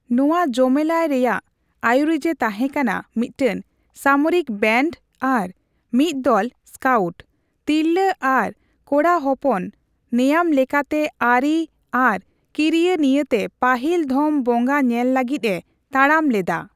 ᱱᱚᱣᱟ ᱡᱚᱢᱮᱞᱟᱭ ᱨᱮᱭᱟᱜ ᱟᱭᱩᱨᱤᱡ ᱮ ᱛᱟᱦᱮᱸᱠᱟᱱᱟ ᱢᱤᱫᱴᱮᱱ ᱥᱟᱢᱚᱨᱤᱠ ᱵᱮᱱᱰ ᱟᱨ ᱢᱤᱫ ᱫᱚᱞ ᱥᱠᱟᱣᱴ; ᱛᱤᱨᱞᱟᱹ ᱟᱨ ᱠᱚᱲᱟᱦᱚᱯᱚᱱ ᱱᱮᱭᱟᱢᱞᱮᱠᱟᱛᱮ, ᱟᱹᱨᱤ ᱟᱨ ᱠᱤᱨᱤᱭᱟᱹ ᱱᱤᱭᱟᱹᱛᱮ ᱯᱟᱹᱦᱤᱞ ᱫᱷᱚᱢ ᱵᱚᱸᱜᱟ ᱧᱮᱞ ᱞᱟᱹᱜᱤᱫ ᱮ ᱛᱟᱲᱟᱢ ᱞᱮᱫᱟ ᱾